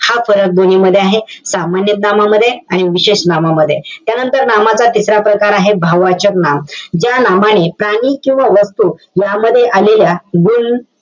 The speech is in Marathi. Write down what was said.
हा फरक दोन्हीमध्ये आहे. सामान्य नामामध्ये आणि विशेष नामामध्ये. त्यानंतर, नामाचा तिसरा प्रकार आहे, भाववाचक नाम. ज्या नामाने, प्राणी किंवा वस्तू, यामध्ये आलेल्या गुण,